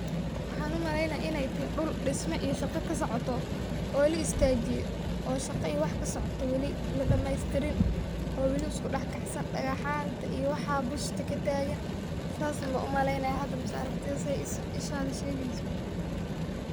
Waxaan u maleynayaa iney teh dhul dhisma iyo shaqa ka socoto oo la istaajiye oo shaqa iyo wax ka socoto wali ,la dhameystirin oo wali isku dhax kacsan . Dhagaxaanta iyo waxaa busta ka taagan saas un baan u maleynaaya hadda aragtida sey ishara shegeyso.